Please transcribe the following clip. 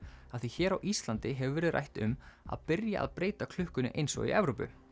af því hér á Íslandi hefur verið rætt um að byrja að breyta klukkunni eins og í Evrópu